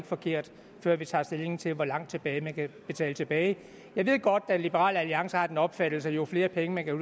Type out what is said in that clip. forkert før vi tager stilling til hvor langt tilbage man kan betale tilbage jeg ved godt at liberal alliance har den opfattelse at jo flere penge man kan